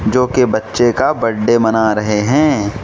जोकि बच्चे का बड्डे मना रहे हैं।